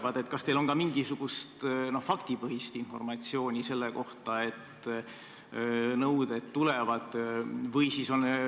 Ma küsingi: kas teil on ka mingisugust faktipõhist informatsiooni selle kohta, et nõuded riigi vastu tulevad?